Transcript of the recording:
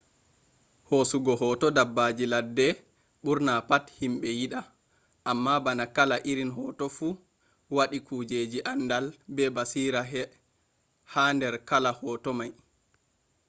hosugo hoto dabbaji ladde burna pat himbe yida amma bana kala irin hoto fu wadi kujjeji andal be basira hader kala hoto mai